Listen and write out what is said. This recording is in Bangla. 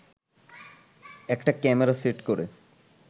একটা ক্যামেরা সেট করে